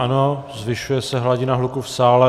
Ano, zvyšuje se hladina hluku v sále.